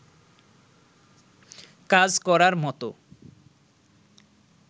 কাজ করার মতো